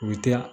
U bɛ taa